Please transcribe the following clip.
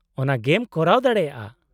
-ᱚᱱᱟ ᱜᱮᱢ ᱠᱚᱨᱟᱣ ᱫᱟᱲᱮᱭᱟᱜᱼᱟ ᱾